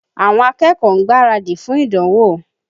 Àwọn akẹ́kọ̀ọ́ ń gbaradì fún ìdánwò.